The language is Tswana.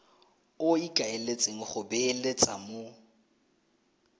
o ikaeletseng go beeletsa mo